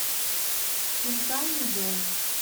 хинкальный дом